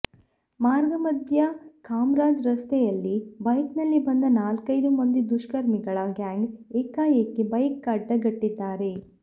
ಮಾರ್ಗ ಮಧ್ಯೆ ಕಾಮರಾಜ್ ರಸ್ತೆಯಲ್ಲಿ ಬೈಕ್ನಲ್ಲಿ ಬಂದ ನಾಲ್ಕೈದು ಮಂದಿ ದುಷ್ಕರ್ಮಿಗಳ ಗ್ಯಾಂಗ್ ಏಕಾಏಕಿ ಬೈಕ್ಅಡ್ಡ ಗಟ್ಟಿದ್ದಾರೆ